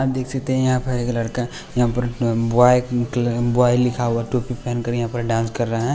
देख सकते हैं यहां पर एक लड़का यहां पर बॉय लिखा हुआ टोपी पहन कर यहां पर डांस कर रहे हैं।